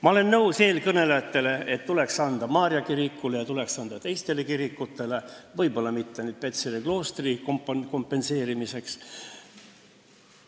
Ma olen nõus eelkõnelejatega, et tuleks anda raha Maarja kirikule ja teistelegi kirikutele, võib-olla mitte küll Petseri kloostri kompenseerimiseks.